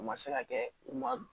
U ma se ka kɛ u ma